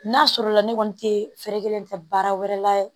N'a sɔrɔ la ne kɔni te fɛɛrɛ kelen ta baara wɛrɛ la